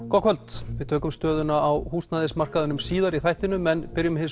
gott kvöld við tökum stöðuna á húsnæðismarkaðinum síðar í þættinum en byrjum hins